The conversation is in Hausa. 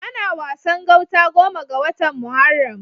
Ana Wasan gauta goma ga watan Muharram.